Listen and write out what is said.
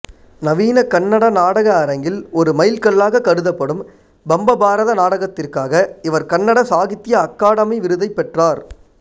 நவீன கன்னட நாடக அரங்கில் ஒரு மைல்கல்லாகக் கருதப்படும் பம்பபாரத நாடகத்திற்காக இவர் கர்நாடக சாகித்ய அகாதமி விருதை பெற்றார்